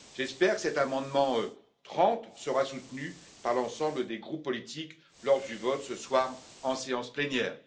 J'espère que cet amendement 30 sera soutenu par l'ensemble des groupes politiques lors du vote, ce soir, en séance plénière.